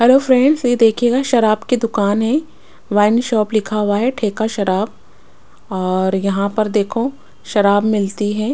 Hello friends ये देखिएगा शराब की दुकान है वाइन शॉप लिखा हुआ है ठेका शराब और यहाँ पर देखो शराब मिलती है।